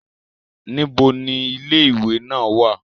Nibo ni ile-iwe naa wa?